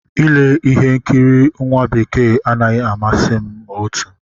Ile ihe nkiri nwa bekee anaghị amasị m ma otu